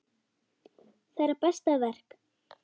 Þeirra besta verk.